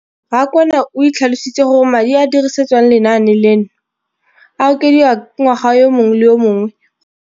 Rakwena o tlhalositse gore madi a a dirisediwang lenaane leno a okediwa ngwaga yo mongwe le yo mongwe go tsamaelana le.